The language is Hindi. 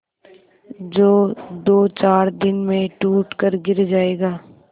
जो दोचार दिन में टूट कर गिर जाएगा